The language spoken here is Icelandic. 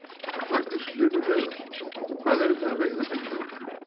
Magnús Hlynur Hreiðarsson: Hvað eruð þið að veiða mikið á dag?